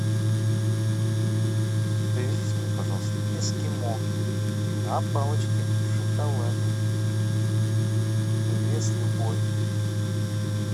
привезите мне пожалуйста эскимо на палочке в шоколаде вес любой